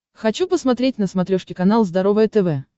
хочу посмотреть на смотрешке канал здоровое тв